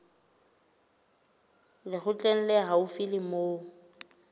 lekgotleng le haufi le moo